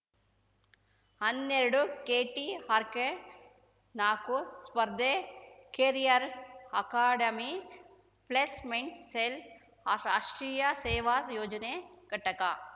ಹನ್ನೆರಡುಕೆಟಿಆರ್‌ಕೆನಾಕು ಸ್ಪರ್ದೇ career academy placement cell ಆ ಆಷ್ಟ್ರೀಯ ಸೇವಾ ಯೋಜನೆ ಘಟಕ